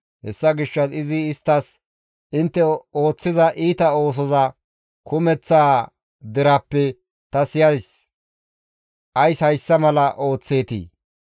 Hessa gishshas izi isttas, «Intte ooththiza iita oosoza kumeththaa deraappe ta siyays; ays hayssa mala ooththeetii?